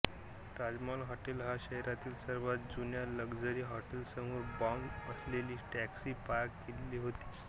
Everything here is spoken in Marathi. ताजमहाल हाॅटेल या शहरातील सर्वात जुन्या लक्झरी हॉटेलसमोर बॉम्ब असलेली टॅक्सी पार्क केलेली होती